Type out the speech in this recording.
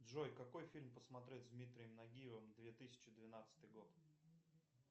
джой какой фильм посмотреть с дмитрием нагиевым две тысячи двенадцатый год